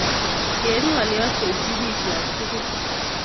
Keib ngolyot koitiy bikyok tugul